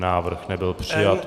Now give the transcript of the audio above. Návrh nebyl přijat.